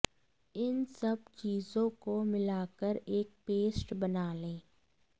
इन सब चीजों को मिलाकर एक पेस्ट बना लें